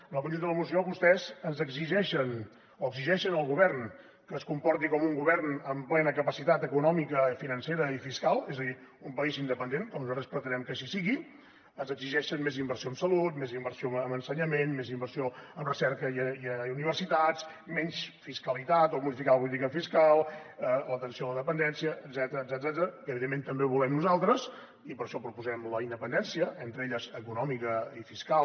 en el conjunt de la moció vostès ens exigeixen o exigeixen al govern que es comporti com un govern amb plena capacitat econòmica financera i fiscal és a dir un país independent com nosaltres pretenem que així sigui ens exigeixen més inversió en salut més inversió en ensenyament més inversió en recerca i universitats menys fiscalitat o modificar la política fiscal l’atenció a la dependència etcètera que evidentment també ho volem nosaltres i per això proposem la independència entre elles econòmica i fiscal